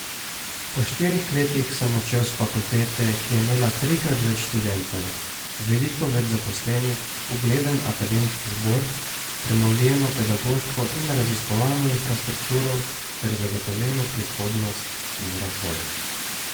Po štirih letih sem odšel s Fakultete, ki je imela trikrat več študentov, veliko več zaposlenih, ugleden akademski zbor, prenovljeno pedagoško in raziskovalno infrastrukturo ter zagotovljeno prihodnost in razvoj.